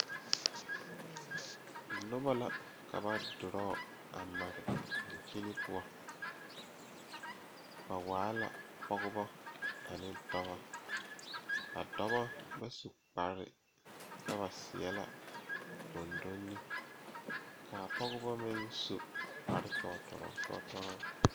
Noba la ka ba dorɔɔ a mare dankyini poɔ ba waa la pɔgeba ane dɔba a dɔba ba su kpare kyɛ ba seɛ la gondonni k,a pɔgeba meŋ su kparekyɔɔtɔrɔɔ kyɔɔtɔrɔɔ.